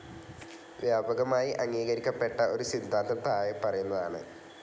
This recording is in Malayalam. വ്യാപകമായി അംഗീകരിക്കപ്പെട്ട ഒരു സിദ്ധാന്തം താഴെ പറയുന്നതാണ്.